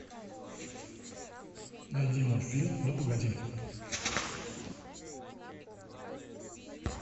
найди мультфильм ну погоди